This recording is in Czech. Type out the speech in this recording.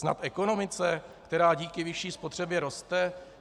Snad ekonomice, která díky vyšší spotřebě roste?